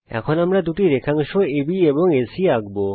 এখন আমরা দুটি রেখাংশ আব এবং এসি আঁকব